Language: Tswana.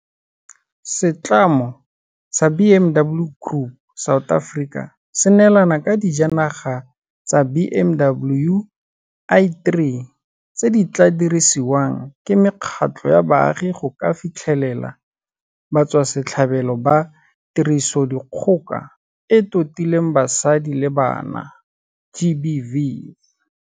Setlamo sa BMW Group South Africa se neelane ka dijanaga tsa BMW i3 tse di tla dirisiwang ke mekgatlho ya baagi go ka fitlhelela batswasetlhabelo ba Tirisodikgoka e e Totileng Basadi le Bana GBV.